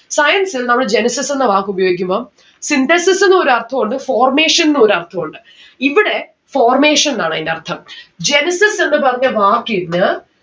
science ൽ നമ്മള് genesis എന്ന വാക്ക് ഉപയോഗിക്കുമ്പം synthesis ന്നു ഒരർഥം ഉണ്ട് formation ഉ ഒരർഥം ഉണ്ട്. ഇവിടെ formation ന്ന്‌ ആണ് അയിന്റെ അർഥം genesis എന്ന് പറഞ്ഞ വാക്കിന്ന്